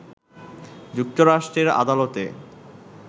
যুক্তরাষ্ট্রের আদালতে